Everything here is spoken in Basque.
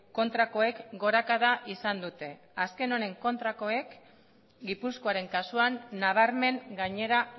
kontrakoek gorakada izan dute azken honen kontrakoek gipuzkoaren kasuan nabarmen gainera